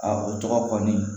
o tɔgɔ kɔni